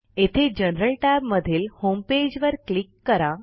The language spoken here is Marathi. येथे जनरल tab मधील होमपेज वर क्लिक करा